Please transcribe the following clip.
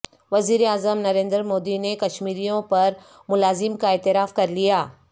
وزیراعظم نریندر مودی نے کشمیریوں پر مظالم کا اعتراف کر لیا